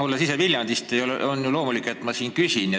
Olles ise Viljandist, on loomulik, et ma siin küsin.